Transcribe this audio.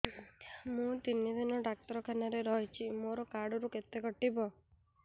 ମୁଁ ତିନି ଦିନ ଡାକ୍ତର ଖାନାରେ ରହିଛି ମୋର କାର୍ଡ ରୁ କେତେ କଟିବ